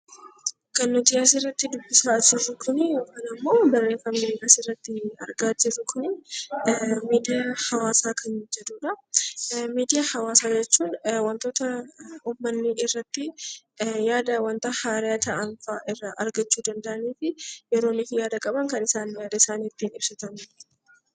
Kan nuti asirratti dubbisaa jirru kuni yookaan ammoo barreeffamni nuti asirratti argaa jirru kuni miidiyaa hawaasaa kan jedhudha. Miidiyaa hawaasaa jechuun waantota uummatni irratti yaada, waanta haaraa ta'anfaa irraa argachuu danda'an fi yeroo yaada qaban kan isaan ittiin yaada isaanii ibsatanidha.